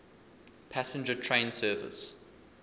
passenger train service